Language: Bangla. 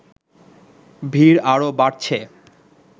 ভিড় আরও বাড়ছে